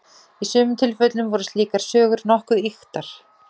í sumum tilfellum voru slíkar sögur nokkuð ýktar